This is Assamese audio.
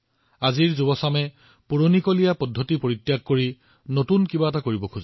আৰু আজিৰ ডেকা মনটোৱে পুৰণি ধাৰাৰ পৰিৱৰ্তে নতুন কিবা এটা কৰিব বিচাৰে